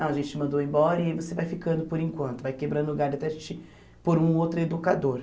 Não, a gente te mandou embora e aí você vai ficando por enquanto, vai quebrando lugar até a gente por um outro educador.